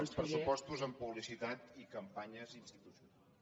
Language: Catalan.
els pressupostos en publicitat i campanyes institucio·nals